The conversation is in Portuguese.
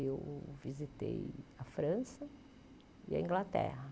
Eu visitei a França e a Inglaterra.